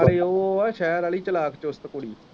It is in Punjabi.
ਤੇ ਉਹ ਆ ਸ਼ਹਿਰ ਵਾਲ਼ੀ ਚਲਾਕ ਚੁਸਤ ਕੁੜੀ ।